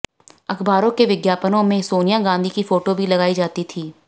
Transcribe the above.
अखबारों के विज्ञापनों में सोनिया गांधी की फोटो भी लगाई जाती थी